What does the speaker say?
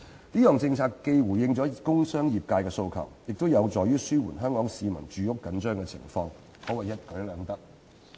這項政策既回應了工商業界的訴求，亦有助於紓緩香港市民住屋緊張的情況，可謂一舉兩得。